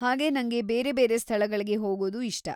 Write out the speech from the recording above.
ಹಾಗೇ ನಂಗೆ ಬೇರೆ ಬೇರೆ ಸ್ಥಳಗಳ್ಗೆ ಹೋಗೋದೂ ಇಷ್ಟ.